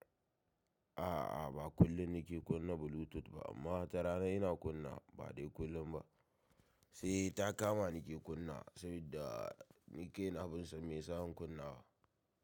A'a, ba kullumnni ke kunna Bluetooth ba amma wata rana ina kunna ba dai kullun ba. Sai ta kama ni ke kunna'a sabida ni kaina ban san me sa in kunna a.